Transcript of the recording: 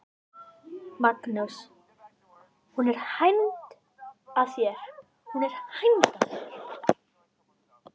Magnús: Hún er hænd að þér?